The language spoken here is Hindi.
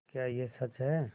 क्या यह सच है